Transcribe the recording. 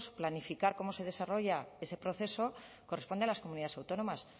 planificar cómo se desarrolla ese proceso corresponde a las comunidades autónomas